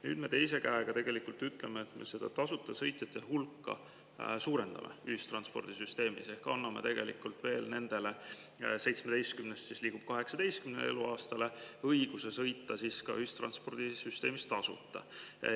Nüüd me ütleme, et me tasuta sõitjate hulka suurendame ühistranspordisüsteemis ehk anname tegelikult – 17 eluaastalt liigub 18 eluaastale – õiguse sõita ühistranspordisüsteemis tasuta.